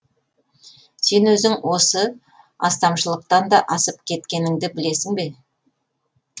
сен өзің осы астамшылықтан да асып кеткеніңді білесің бе